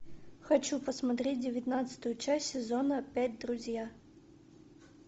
хочу посмотреть девятнадцатую часть сезона пять друзья